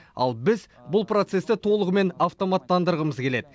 ал біз бұл процесті толығымен автоматтандырғымыз келеді